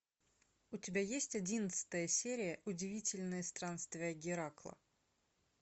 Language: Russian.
у тебя есть одиннадцатая серия удивительные странствия геракла